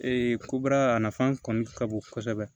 ko bara nafan kɔni ka bon kosɛbɛ